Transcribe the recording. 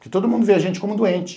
Que todo mundo vê a gente como doente.